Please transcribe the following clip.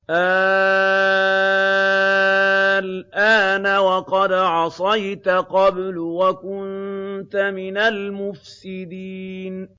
آلْآنَ وَقَدْ عَصَيْتَ قَبْلُ وَكُنتَ مِنَ الْمُفْسِدِينَ